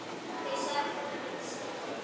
Þau sakna hans sárt.